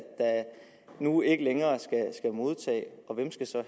nu ikke længere skal modtage og hvem skal så